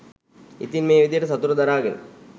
ඉතින් මේ විදියට සතුට දරාගෙන